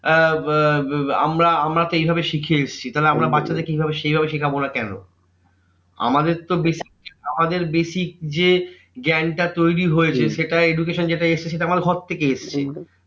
আমরা আমরা তো এইভাবে শিখে এসেছি তাহলে আমরা বাচ্চাদের কে এইভাবে সেইভাবে শেখাবো না কেন? আমাদের তো basic আমাদের basic যে জ্ঞানটা তৈরী হয়েছে সেটা education যেটা এসেছে সেটা আমাদের ঘর থেকে এসেছে।